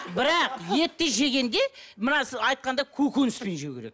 бірақ етті жегенде мына айтқанда көкөніспен жеу керек